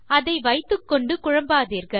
அதை வைத்துக்கொண்டு குழம்பாதீர்கள்